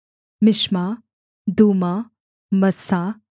मिश्मा दूमा मस्सा